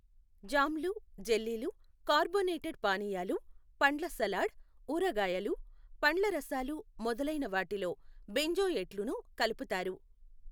జామ్లు. జెల్లీలు, కార్బోనేటేడ్ పానీయాలు, పండ్ల సలాడ్, ఉరగాయలు, పండ్ల రసాలు మొదలైన వాటిలో బెంజోయేట్లును కలుపుతారు.